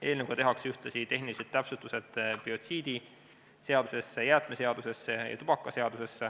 Eelnõuga tehakse ühtlasi tehnilised täpsustused biotsiidiseaduses, jäätmeseaduses ja tubakaseaduses.